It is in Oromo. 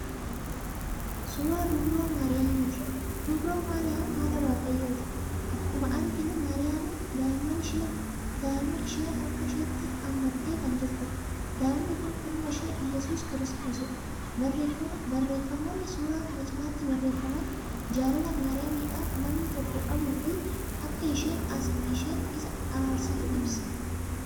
Suuraa dubroo maariyaamiti. dubroo maariyaam haadha waaqayyooti. akkuma arginu maariyaamin daa'imman ishee harka isheetti hammatee Kan jirtuudha. daa'imni Kuni ilma ishee Yesus kiristoosidha. barreeffamoonni suuraa kana cinaattii barreeffaman jaalala maariyaamidhaaf namni tokko qabuufi Akka isheen Isa araarsitu ibsa.